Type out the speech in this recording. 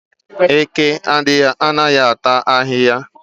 Eke anaghị ata ahịhịa